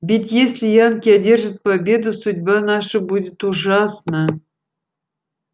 ведь если янки одержат победу судьба наша будет ужасна